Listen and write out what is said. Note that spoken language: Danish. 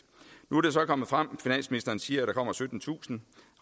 nu er det så kommet frem finansministeren siger at der kommer syttentusind